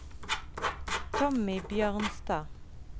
Tommy Bjørnstad